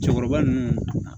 Cɛkɔrɔba ninnu